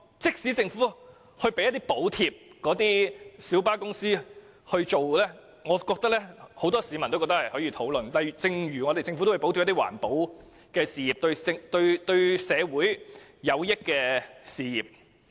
即使政府要向小巴公司提供補貼，但我相信很多市民也認為是值得討論的，就像政府補貼環保等對社會有益的事業一樣。